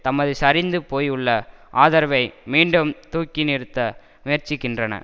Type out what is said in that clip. தமது சரிந்து போயுள்ள ஆதரவை மீண்டும் தூக்கி நிறுத்த முயற்சிக்கின்றன